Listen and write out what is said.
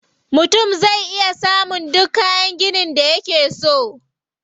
Mutum zai iya samun duk kayan ginin da yake so.